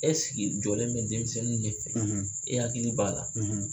Ɛ sigi jɔlen bɛ denmisɛnninw ɲɛ fɛ e hakili b'a la